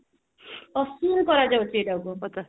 ସେଟାକୁ କହନ୍ତି